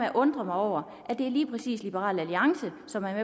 at undre mig over at det lige præcis er liberal alliance som er